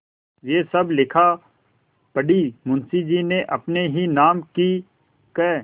यह सब लिखापढ़ी मुंशीजी ने अपने ही नाम की क्